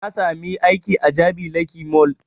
Na sami aiki a jabi lake mall